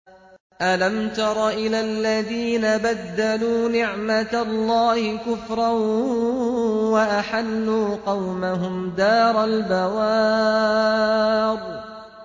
۞ أَلَمْ تَرَ إِلَى الَّذِينَ بَدَّلُوا نِعْمَتَ اللَّهِ كُفْرًا وَأَحَلُّوا قَوْمَهُمْ دَارَ الْبَوَارِ